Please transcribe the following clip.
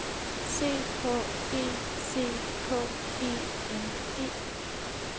C H E C K E N E